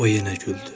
O yenə güldü.